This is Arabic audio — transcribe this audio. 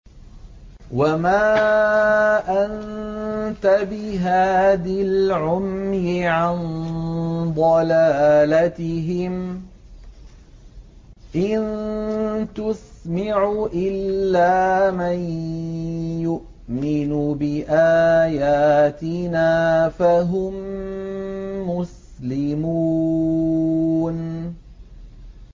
وَمَا أَنتَ بِهَادِ الْعُمْيِ عَن ضَلَالَتِهِمْ ۖ إِن تُسْمِعُ إِلَّا مَن يُؤْمِنُ بِآيَاتِنَا فَهُم مُّسْلِمُونَ